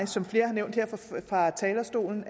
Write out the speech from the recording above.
som flere har nævnt her fra talerstolen